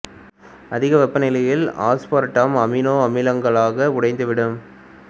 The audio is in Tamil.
அதிக வெப்ப நிலையில் அஸ்பார்ட்டம் அமினோ அமிலங்களாக உடைந்து விடும்